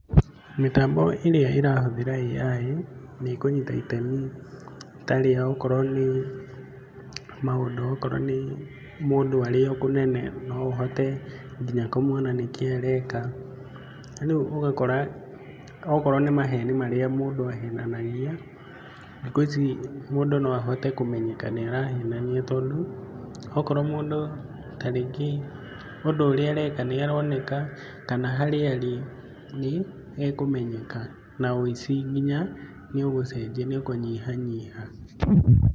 Mĩtambo ĩrĩa ĩrahũthĩra AI nĩ ĩkũnyita itemi ta rĩa gũkorwo nĩ maũndũ okorwo nĩ mũndũ arĩ o kũnene no ahote nginya kũona nĩ kĩĩ areka ũgũo ũgakora okorwo nĩ maheni marĩa mũndũ ahenanagia thĩkũ icĩ mũndũ no ahote kũmenyenyeka nĩ arahenania tondũ okorwo mũndũ tarĩngĩũndũ ũrĩa areka nĩaroneka kana harĩ arĩ nĩ ekũmenyeka na ũĩcĩ nginya nĩũgũcenjia nĩ ũkũnyihanyiha.